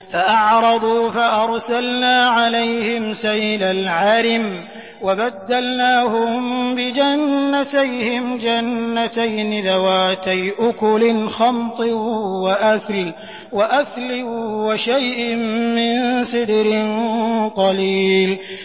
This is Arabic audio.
فَأَعْرَضُوا فَأَرْسَلْنَا عَلَيْهِمْ سَيْلَ الْعَرِمِ وَبَدَّلْنَاهُم بِجَنَّتَيْهِمْ جَنَّتَيْنِ ذَوَاتَيْ أُكُلٍ خَمْطٍ وَأَثْلٍ وَشَيْءٍ مِّن سِدْرٍ قَلِيلٍ